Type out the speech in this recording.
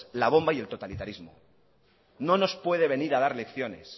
la bomba y el totalitarismo no nos puede venir a dar lecciones